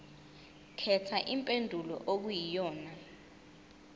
khetha impendulo okuyiyona